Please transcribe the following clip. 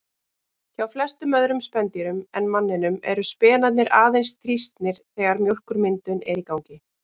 Hjá flestum öðrum spendýrum en manninum eru spenarnir aðeins þrýstnir þegar mjólkurmyndun er í gangi.